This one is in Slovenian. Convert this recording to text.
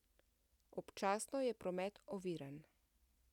Občasno je promet oviran.